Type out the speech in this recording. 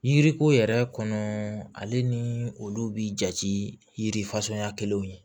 Yiriko yɛrɛ kɔnɔ ale ni olu bi jate yiri fasuguya kelen ye